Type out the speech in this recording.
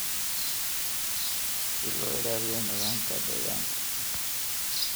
si loo ilaaliyo nidaamka deegaanka.